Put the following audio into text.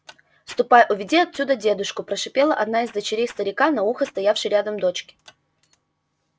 ступай уведи оттуда дедушку прошипела одна из дочерей старика на ухо стоявшей рядом дочке